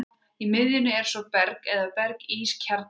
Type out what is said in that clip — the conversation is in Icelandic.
Í miðjunni er svo berg eða berg-ís kjarni.